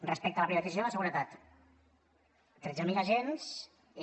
respecte a la privatització de la seguretat tretze mil agents i